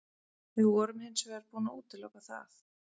Við vorum hins vegar búin að útiloka það.